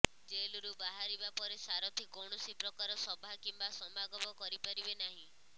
ଜେଲରୁ ବାହାରିବା ପରେ ସାରଥି କୌଣସି ପ୍ରକାର ସଭା କିମ୍ବା ସମାଗମ କରିପାରିବେ ନାହିଁ